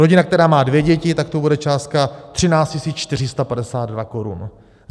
Rodina, která má dvě děti, tak to bude částka 13 452 korun.